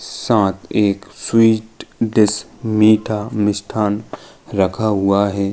साथ एक sweet dish मीठा मिष्ठान रखा हुआ है।